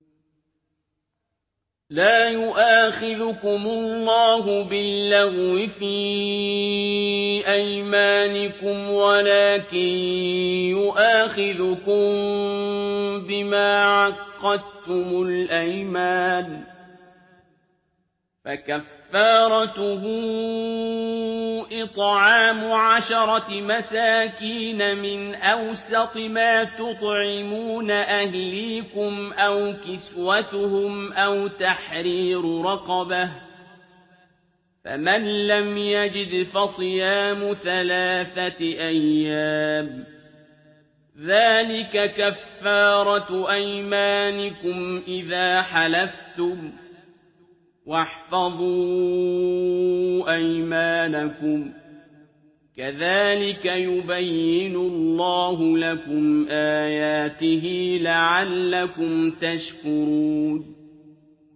لَا يُؤَاخِذُكُمُ اللَّهُ بِاللَّغْوِ فِي أَيْمَانِكُمْ وَلَٰكِن يُؤَاخِذُكُم بِمَا عَقَّدتُّمُ الْأَيْمَانَ ۖ فَكَفَّارَتُهُ إِطْعَامُ عَشَرَةِ مَسَاكِينَ مِنْ أَوْسَطِ مَا تُطْعِمُونَ أَهْلِيكُمْ أَوْ كِسْوَتُهُمْ أَوْ تَحْرِيرُ رَقَبَةٍ ۖ فَمَن لَّمْ يَجِدْ فَصِيَامُ ثَلَاثَةِ أَيَّامٍ ۚ ذَٰلِكَ كَفَّارَةُ أَيْمَانِكُمْ إِذَا حَلَفْتُمْ ۚ وَاحْفَظُوا أَيْمَانَكُمْ ۚ كَذَٰلِكَ يُبَيِّنُ اللَّهُ لَكُمْ آيَاتِهِ لَعَلَّكُمْ تَشْكُرُونَ